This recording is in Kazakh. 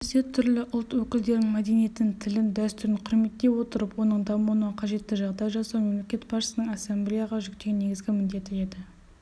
елімізде түрлі ұлт өкілдерінің мәдениетін тілін дәстүрін құрметтей отырып оның дамуына қажетті жағдай жасау мемлекет басшысының ассамблеяға жүктеген негізгі міндеті еді